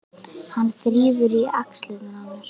Hann þrífur í axlirnar á mér.